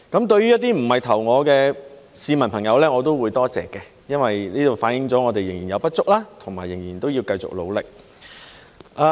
對於一些不是投票給我的市民朋友，我也會多謝，因為反映了我們仍有不足，仍要繼續努力。